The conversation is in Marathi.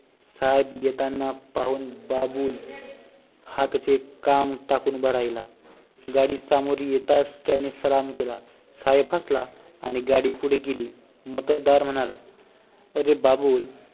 साहेब येताना पाहून बाबूल हातचे काम टाकून उभा राहीला गाडी सामोरी येताच त्याने सलाम केला साहेब हसला आणि गाडी पुढे गेली मोत्तद्दार म्हणाला अरे बाबूल